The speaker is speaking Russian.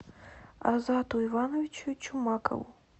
азату ивановичу чумакову